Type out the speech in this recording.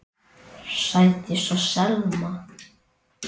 Sædís og Selma.